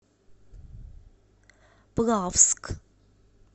плавск